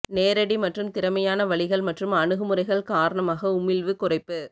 நேரடி மற்றும் திறமையான வழிகள் மற்றும் அணுகுமுறைகள் காரணமாக உமிழ்வு குறைப்பு